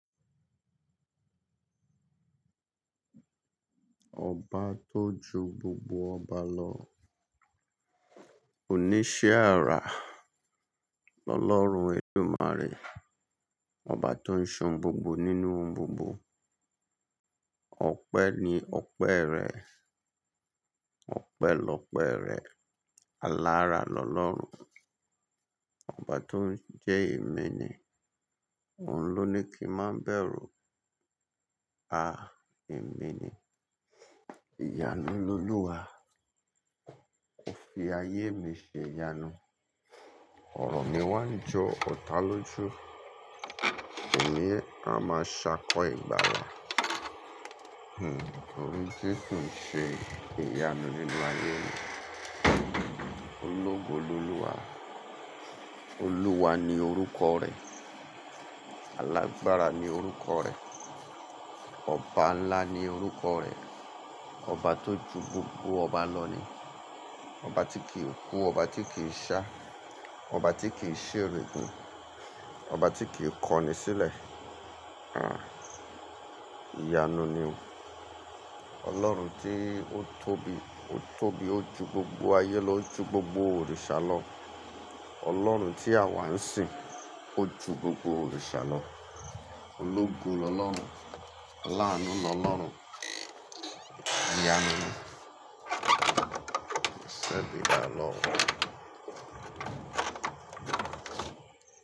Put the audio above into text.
Ọba tó ju gbogbo ọba lọ. O ní ṣe àrá. Ọlọ́run, eledumaarẹ Ọba tó ń se ohun gbogbo nínú ohun gbogbo. Ọpẹ ni ọpẹ rẹ. Ọpẹ lọpẹ rẹ. Alára lọ́lọ́run. Ọba tó ń jẹ́ emi ni òun ló ní kí n máa bẹ̀rù. Emi ni, ìyanu lolúwa. Ó fi ayé mi ṣe ìyanu. Ọ̀rọ̀ mi wá ń jọ ọ̀tá ló ju èmi a máa ṣákọ́ ìgbàlà. Tori jesu se iyanu nínú ayé mi. Ológun lolúwa. Olúwa ni orúkọ rẹ̀. Alágbára ni orúkọ rẹ̀. Ọba ńlá ni orúkọ rẹ̀. Ọba tó ju gbogbo ọba lọ ni. Ọba tí kìí kú, ọba tí kì í ṣá, ọba tí kì í ṣèregun, ọba tí kì í kọni sílẹ̀. Ìyanu ni o. Ọlọ́run tí ó tóbi, ó tóbi, ó ju gbogbo ayé lọ, ó ju gbogbo òrìṣà lọ. Ọlọ́run tí a wà ń sìn, ó ju gbogbo òrìṣà lọ. Ológun lọlọrun. Aláàánú lọ́lọ́run. Ìyanu ni. Sẹbí bá lọ.